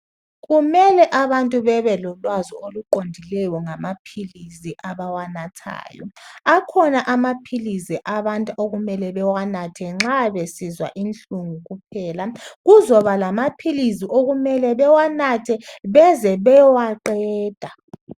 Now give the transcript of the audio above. Kumele abantu babelolwazi oluqondileyo ngamaphilizi abawanathayo, akhona amaphilizi abantu okumele bewanatha nxa besizwa inhlungu kuphela kuzoba lamaphilizi okumele bewanathe beze bewaqeda.